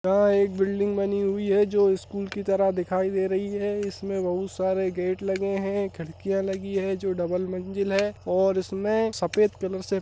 है एक बिल्डिंग बनी हुई है जो स्कूल की तरह दिखाई दे रही है | इसमें बहुत सारे गेट लगे हैं खिड़कियाँ लगी है जो डबल मंजिल है और उसमें सफेद कलर से --